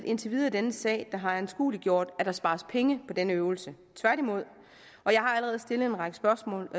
intet i denne sag der har anskueliggjort at der spares penge på denne øvelse tværtimod og jeg har allerede stillet en række spørgsmål